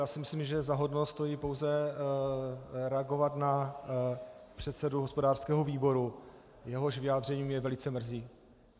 Já si myslím, že za hodno stojí pouze reagovat na předsedu hospodářského výboru, jehož vyjádření mě velice mrzí.